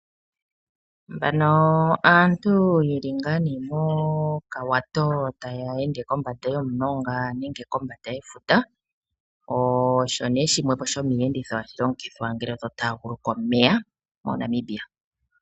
Aantu yeli nga ne mokawato taya ende kombanda yomulonga nenge kombanda yefuta osho ne shimwe shomiyenditho hashi longithwa ngele totaguluka omeya mo Namibia .